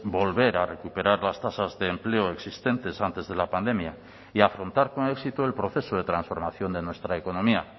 volver a recuperar las tasas de empleo existentes antes de la pandemia y afrontar con éxito el proceso de transformación de nuestra economía